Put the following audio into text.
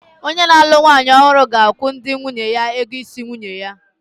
Onye na-alụ nwanyị ọhụrụ ga-akwụ ndị nwunye ya ego isi nwanyi ya.